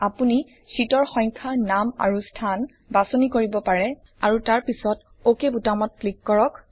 আপুনি শ্বিটৰ সংখ্যা নাম আৰু স্থান বাচনি কৰিব পাৰে আৰু তাৰ পিছত অক বুতামটোত ক্লিক কৰক